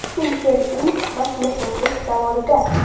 Kim Chen In mashinasozlik zavodida .